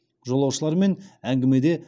жолаушылармен әңгімеде